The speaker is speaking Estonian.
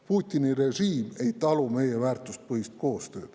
Putini režiim ei talu meie väärtuspõhist koostööd.